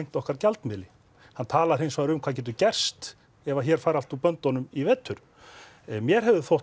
okkar gjaldmiðli hann talar hins vegar um hvað getur gerst ef hér fari allt úr böndunum í vetur mér hefði þótt